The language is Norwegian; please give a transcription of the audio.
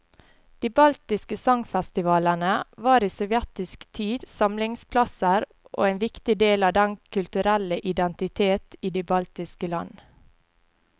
De baltiske sangfestivalene var i sovjetisk tid samlingsplasser og en viktig del av den kulturelle identitet i de baltiske land.